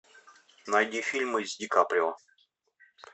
найди фильмы с ди каприо